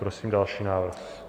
Prosím další návrh.